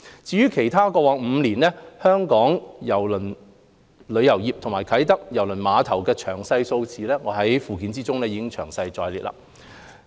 至於其他有關過去5年香港郵輪旅遊業及啟德郵輪碼頭的詳細數字，均已列載於附件。